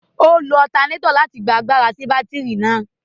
O lo alternator láti gbà àgbàrá si batiri náà